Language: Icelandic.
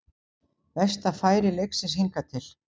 Besta færi leiksins hingað til